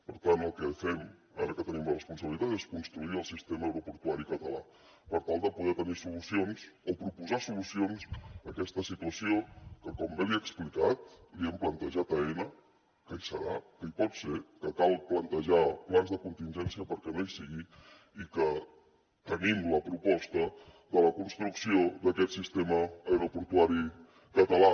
per tant el que fem ara que tenim la responsabilitat és construir el sistema aeroportuari català per tal de poder tenir solucions o proposar solucions a aquesta situació que com bé li he explicat hem plantejat a aena que hi serà que hi pot ser que cal plantejar plans de contingència perquè no hi sigui i que tenim la proposta de la construcció d’aquest sistema aeroportuari català